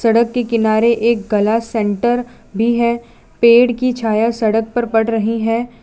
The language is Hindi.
सड़क के किनारे एक गला सेंटर भी है पेड़ की छाया सड़क पर पड़ रही है।